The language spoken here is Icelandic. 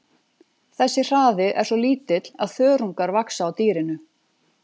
Þessi hraði er svo lítill að þörungar vaxa á dýrinu.